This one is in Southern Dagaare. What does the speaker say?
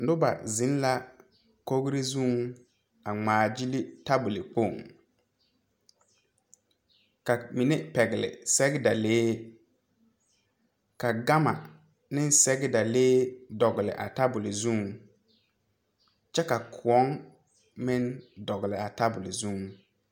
Nobɔ zeŋ la kogre zuŋ a ngmaagyile tabole kpoŋ ka mine pɛgle sɛgedalee ka gama ne sɛgedalee dɔgle a table zuŋ kyɛ ka kõɔŋ meŋ dɔgle a tabole zuŋ.